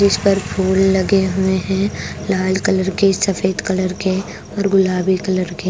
इस पर फूल लगे हुए हैं लाल कलर के सफेद कलर के और गुलाबी कलर के।